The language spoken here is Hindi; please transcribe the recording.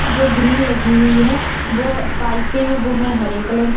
जो ग्रील लगी हुई है वो पाइपे है वो है हरे कलर की।